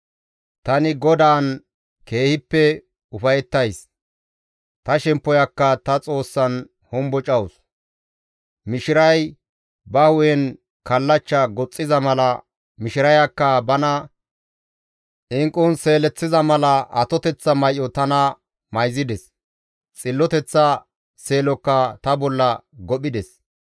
Tani GODAAN keehippe ufayettays; ta shemppoyakka ta Xoossan hombocawus; mishiray ba hu7en kallachcha goxxiza mala, mishirayakka bana inqqun seeleththiza mala atoteththa may7o tana mayzides; xilloteththa seelokka ta bolla gophides.